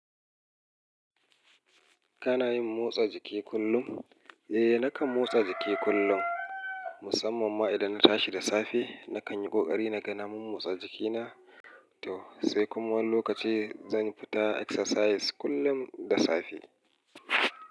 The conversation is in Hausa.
Kana yin motsa jiki kullum? Eh, nakan motsa jiki kullum, musamman ma idan na tashi da safe. Nakan yi ƙoƙari na ganin na motsa jikina, to sai kuma wani lokaci zan fita exercise kullum da safe.